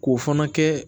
K'o fana kɛ